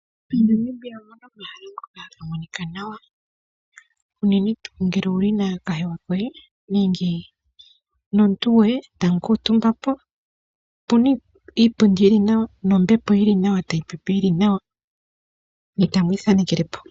Monamibia omuna omahala ngono haga monika nawa uunene tuu ngele owuli nomuntu goye etamu kuuntumba po opuna iipundi yili nawa nombepo yili nawa tayi pepe yili nawa ne tamu ithanekele po.